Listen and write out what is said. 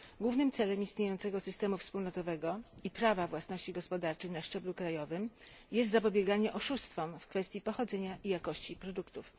Głównym celem istniejącego systemu wspólnotowego i prawa własności gospodarczej na szczeblu krajowym jest zapobieganie oszustwom w kwestii pochodzenia i jakości produktów.